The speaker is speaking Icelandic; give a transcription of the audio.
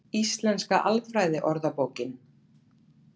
Íslenska alfræðiorðabókin.